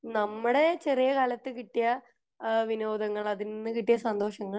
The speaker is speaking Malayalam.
നമ്മുടെ ചെറിയ കാലത് കിട്ടിയ വിനോദങ്ങൾ ഏഹ്ഹ് അത്തിൽ നിന്ന് കിട്ടിയ സന്തോഷങ്ങൾ